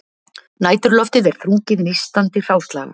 Næturloftið er þrungið nístandi hráslaga